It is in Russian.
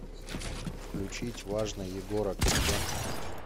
включить важно егора крида